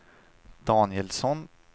Danielsson